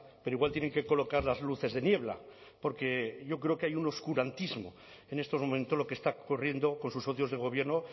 pero igual tienen que colocar las luces de niebla porque yo creo que hay un oscurantismo en estos momentos lo que está ocurriendo con sus socios de gobierno